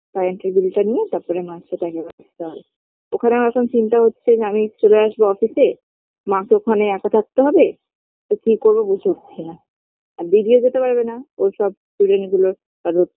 Current -এর bill - টা নিয়ে তারপরে মার সাথে আগে দেখা করতে হবে ওখানে আমার এখন চিন্তা হচ্ছে যে আমিও চলে আসবো office -এ মাকে ওখানে একা থাকতে হবে তো কি করব বুঝে উঠছি না আর দিদিও যেতে পারবে না ওর সব student গুলো কারোর